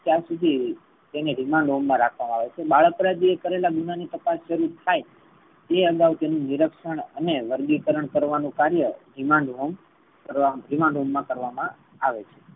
ત્યાં સુધી તેને remand home માં રાખવામા આવે છે. બાળ અપરાધી એ કરેલા ગુનાહ ની તપાસણી થાઈ તે અગાઉ તેને નીરક્ષન અને વર્ગીકરણ કરવાનુ કાર્ય remand home મા કરવામા આવે છે.